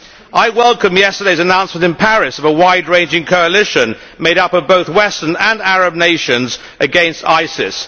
I welcome yesterday's announcement in Paris of a wide ranging coalition made up of both Western and Arab nations against ISIS.